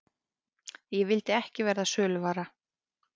Ég vildi ekki verða söluvara.